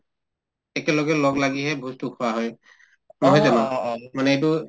একেলগে লগলাগিহে ভোজতো খোৱা হয় নহয় জানো মানে এইটো